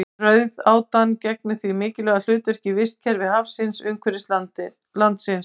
Rauðátan gegnir því mikilvægu hlutverki í vistkerfi hafsins umhverfis landið.